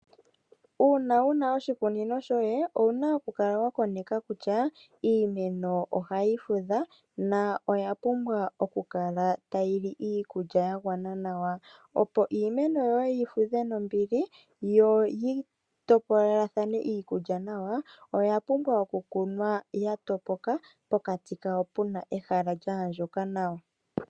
Uuna wuna oshikunino shoye, owuna okukala wakoneka kutya iimeno ohayi fudha, yo oya pumbwa okukala tayi li iikulya yagwana, opo iimeno yoye yivudhe nombili, yo yi topolelathane iikulya nawa, oya pumbwa okukunwa yatopoka pokati kawo puna ehala lyaandjuka nawa.